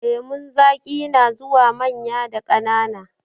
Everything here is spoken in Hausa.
Lemun zaƙi na zuwa manya da ƙanana.